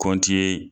Kɔnti ye